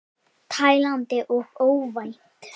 Tælandi og óvænt.